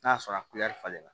N'a sɔrɔ a falenna